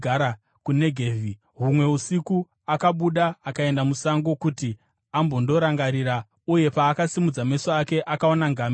Humwe usiku akabuda akaenda musango kuti ambondorangarira, uye paakasimudza meso ake, akaona ngamera dzichiswedera,